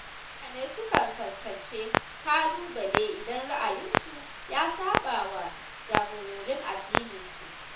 Mutane sukan fuskanci ƙalubale idan ra’ayinsu ya saɓawa jagororin addininsu.